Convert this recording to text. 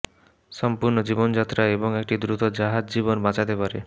সম্পূর্ণ জীবনযাত্রা এবং একটি দ্রুত জাহাজ জীবন বাঁচাতে পারে